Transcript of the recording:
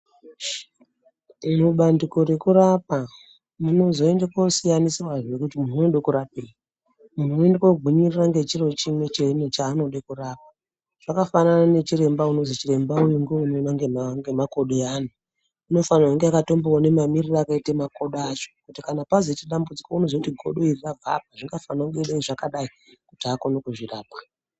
Irobandiko rekurapa munozoende kosiyaniswazve kutimunhu unode kurapwei munhu oende kogwinyirire ngechiro chimwe chaanode kurapa. Zvakafanana nechiremba unozwi ndichiremba unoone ngemakodo eanhu unofana kunge akatomboone mamirire akaite makodo acho kuti pazoite dambudziko unoziye kuti godo iri rrakabve apa kuti azoone kuzvirapa.